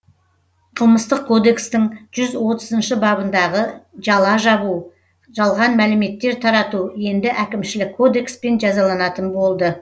қылмыстық кодекстің жүз отызыншы бабындағы жала жабу жалған мәліметтер тарату енді әкімшілік кодекспен жазаланатын болды